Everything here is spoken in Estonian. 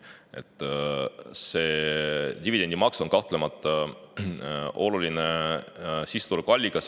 Dividendimaks on kahtlemata oluline sissetulekuallikas.